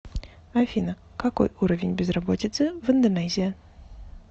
афина какой уровень безработицы в индонезия